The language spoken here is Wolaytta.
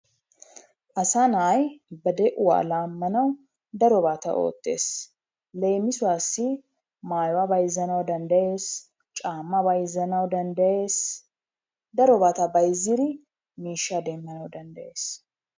Asa na'ay ba de'uwaa laammanaw darobata oottees. Leemisuwassi maayuwa bayzzanawu danddayees, caammaa bayzzanawu danddayees, darobata bayzzidi miishsha demmanaw danddayees.